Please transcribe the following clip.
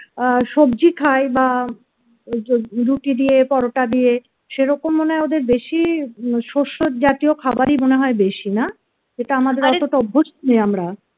আহ সবজি খাই বা রুটি দিয়ে পরোটা দিয়ে সেরকম মনে হয় ওদের বেশি শস্যজাতীয় খাবারই মনে হয় বেশি না এটা আমাদের অতটা অভ্যাস নই আমরা